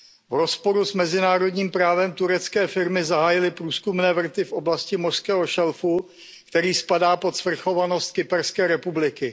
V rozporu s mezinárodním právem turecké firmy zahájily průzkumné vrty v oblasti mořského šelfu, který spadá pod svrchovanost Kyperské republiky.